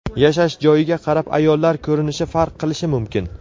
Yashash joyiga qarab ayollar ko‘rinishi farq qilishi mumkin.